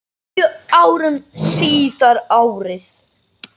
Níu árum síðar, árið